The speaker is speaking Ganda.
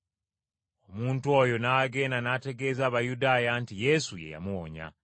Omuntu oyo n’agenda n’ategeeza Abayudaaya nti Yesu ye yamuwonya.